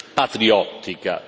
patriottica.